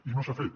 i no s’ha fet